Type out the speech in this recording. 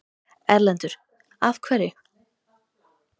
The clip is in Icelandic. Erlendur: Af hverju?